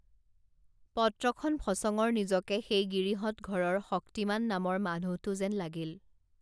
পত্ৰখন ফচঙৰ নিজকে সেই গিৰিহঁতঘৰৰ শক্তিমান নামৰ মানুহটো যেন লাগিল